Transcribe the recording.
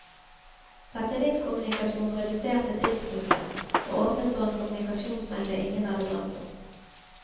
Satellittkommunikasjon reduserte tidsbruken, og åpnet for en kommunikasjonsmengde ingen hadde drømt om.